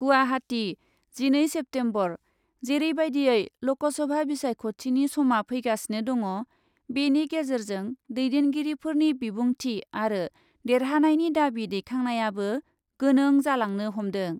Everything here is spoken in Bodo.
गुवाहाटी , जिनै सेप्तेम्बर, जेरैबायदियै लकसभा बिसायख'थिनि समा फैगासिनो दङ' बेनि गेजेरजों दैदेनगिरिफोरनि बिबुंथि आरो देरहानायनि दाबि दैखांनायाबो गोनों जालांनो हमदों ।